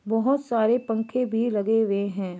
बहुत सारे पंखे भी लगे हुए है।